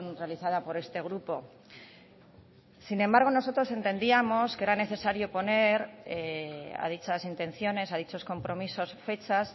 realizada por este grupo sin embargo nosotros entendíamos que era necesario poner a dichas intenciones a dichos compromisos fechas